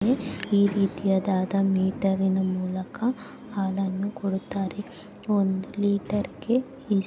ಇಲ್ಲಿ ಲಿಟರಿನಿಂದ್ ಮೂಲಕ ಹಾಲನು ಕೂಡತಾರೇ ಇಲ್ಲಿ ಒಂದು ಲೀಟರ್ಗೆ.